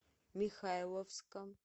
михайловска